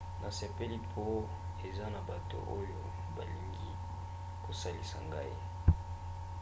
nasepeli mpo eza na bato oyo balingi kosalisa ngai